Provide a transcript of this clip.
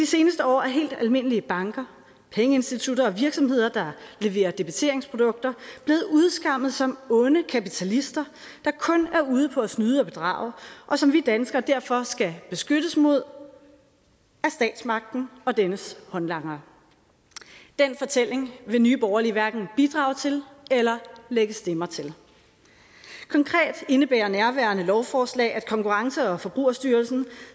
seneste år er helt almindelige banker pengeinstitutter og virksomheder der leverer debiteringsprodukter blevet udskammet som onde kapitalister der kun er ude på at snyde og bedrage og som vi danskere derfor skal beskyttes mod af statsmagten og dennes håndlangere den fortælling vil nye borgerlige hverken bidrage til eller lægge stemmer til konkret indebærer nærværende lovforslag at konkurrence og forbrugerstyrelsen